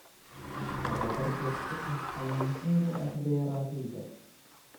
Tababar joogto ah ayaa muhiim u ah beeralayda.